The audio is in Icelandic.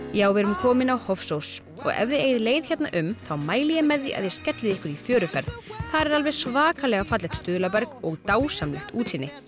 já við erum komin á Hofsós ef þið eigið leið hérna um mæli ég með að þið skellið ykkur í fjöruferð þar er alveg svakalega fallegt stuðlaberg og dásamlegt útsýni